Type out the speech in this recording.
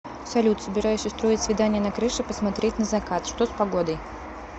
салют собираюсь устроить свидание на крыше посмотреть на закат что с погодой